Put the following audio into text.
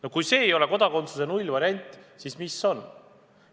" No kui see ei ole kodakondsuse nullvariant, siis mis on?